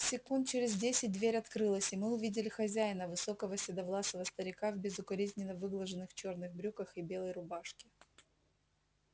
секунд через десять дверь открылась и мы увидели хозяина высокого седовласого старика в безукоризненно выглаженных черных брюках и белой рубашке